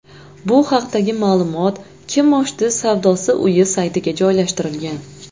Bu haqdagi ma’lumot kimoshdi savdosi uyi saytiga joylashtirilgan .